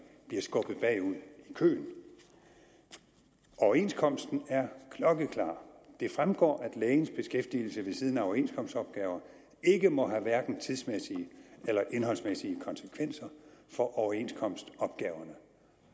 bliver skubbet bagud i køen overenskomsten er klokkeklar det fremgår at lægens beskæftigelse ved siden af overenskomstopgaver ikke må have hverken tidsmæssige eller indholdsmæssige konsekvenser for overenskomstopgaverne